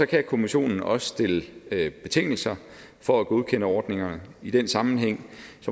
kan kommissionen også stille betingelser for at godkende ordningerne i den sammenhæng